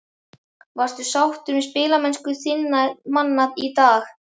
Varstu sáttur með spilamennsku þinna manna í dag?